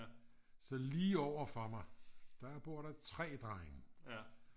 så lige overfor mig der bor der 3 drenge